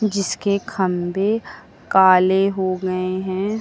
जिसके खंभे काले हो गए हैं।